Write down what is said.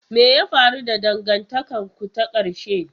Me ya faru da dangantakarku ta ƙarshe?